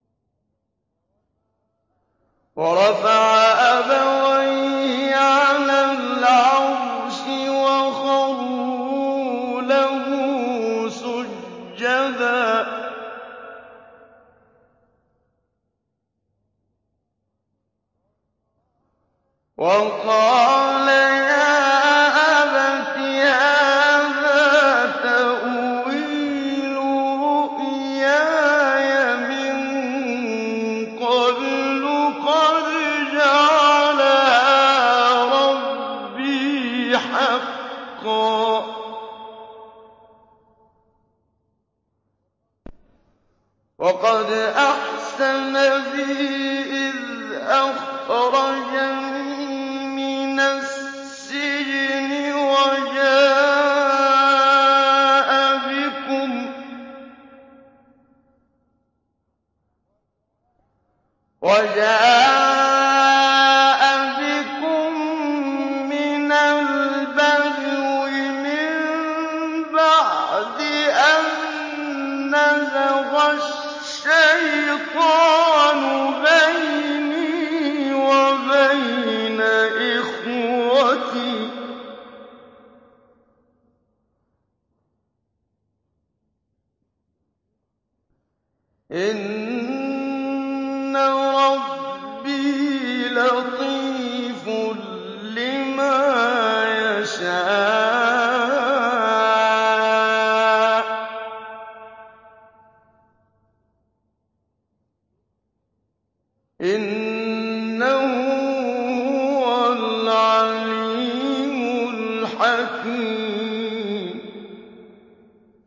وَرَفَعَ أَبَوَيْهِ عَلَى الْعَرْشِ وَخَرُّوا لَهُ سُجَّدًا ۖ وَقَالَ يَا أَبَتِ هَٰذَا تَأْوِيلُ رُؤْيَايَ مِن قَبْلُ قَدْ جَعَلَهَا رَبِّي حَقًّا ۖ وَقَدْ أَحْسَنَ بِي إِذْ أَخْرَجَنِي مِنَ السِّجْنِ وَجَاءَ بِكُم مِّنَ الْبَدْوِ مِن بَعْدِ أَن نَّزَغَ الشَّيْطَانُ بَيْنِي وَبَيْنَ إِخْوَتِي ۚ إِنَّ رَبِّي لَطِيفٌ لِّمَا يَشَاءُ ۚ إِنَّهُ هُوَ الْعَلِيمُ الْحَكِيمُ